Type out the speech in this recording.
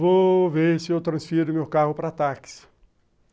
Vou ver se eu transfiro meu carro para táxi.